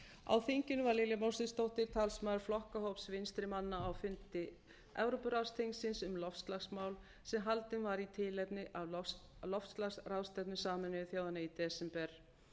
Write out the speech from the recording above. á þinginu var lilja mósesdóttir talsmaður flokkahóps vinstrimanna á fundi evrópuráðsþingsins um loftslagsmál sem haldinn var í tilefni af loftslagsráðstefnu sameinuðu þjóðanna í desember